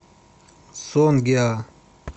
сонгеа